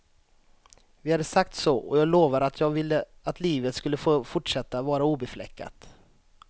Vi hade sagt så, och jag lovar att jag ville att livet skulle få fortsätta vara obefläckat.